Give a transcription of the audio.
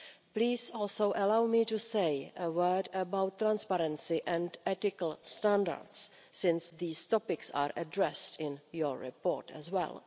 Please also allow me to say a word about transparency and ethical standards, since these topics are addressed in your report as well.